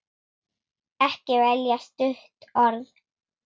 Ekki velja stutt orð.